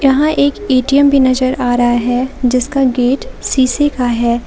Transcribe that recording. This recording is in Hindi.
यहां एक ए_टी_एम भी नजर आ रहा है जिसका गेट शीशे का है।